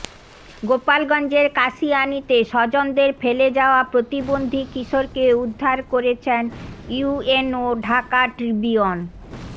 গোপালগঞ্জের কাশিয়ানিতে স্বজনদের ফেলে যাওয়া প্রতিবন্ধী কিশোরকে উদ্ধার করেছেন ইউএনও ঢাকা ট্রিবিউন